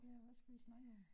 Ja hvad skal vi snakke om?